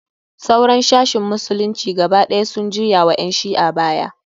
Sauran sashin musulunci gaba ɗaya sun juya wa ƴan shi'a baya.